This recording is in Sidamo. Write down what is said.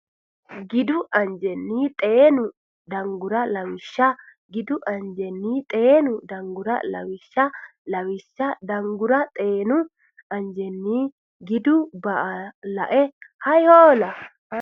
gidu anjenni xeenu Danguri Lawishsha gidu anjenni xeenu Danguri Lawishsha Lawishsha Danguri xeenu anjenni gidu ba a lae Hay hoola !